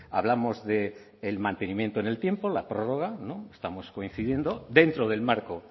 hablamos del mantenimiento en el tiempo la prórroga estamos coincidiendo dentro del marco